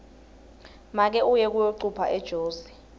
make uye kuyocupha ejozi